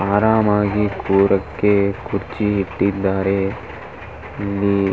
ಆರಾಮ ಆಗಿ ಕುರಕ್ಕೆ ಕುರ್ಚಿ ಇಟ್ಟಿದ್ದಾರೆ ಇಲ್ಲಿ.